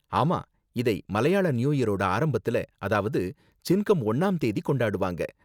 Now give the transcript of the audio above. ஆமா, இதை மலையாள நியூ இயரோட ஆரம்பத்துல, அதாவது சின்கம் ஒன்னாம் தேதி கொண்டாடுவாங்க.